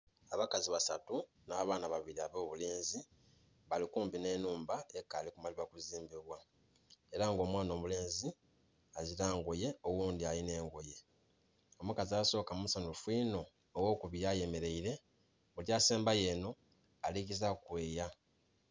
Abakazi basatu nha baana babiri abobulenzi bali kumpi nhe nhumba ekali kumalibwa kuzimbibwa era nga omwaana omulenzi azila ngoye oghundhi alinha engoye. Omukazi asoka musanhufu inho ogho kubiri ayemereire omukazi asemba yo enho ali gezaku okweeya.